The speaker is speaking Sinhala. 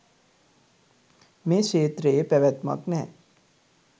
මේ ක්ෂේත්‍රයේ පැවැත්මක් නෑ.